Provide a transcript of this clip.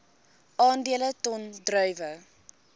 aandele ton druiwe